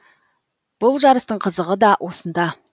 бұл жарыстың қызығы да осында